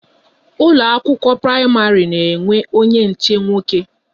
Ụlọ akwụkwọ praịmarị na-enwe onye nche nwoke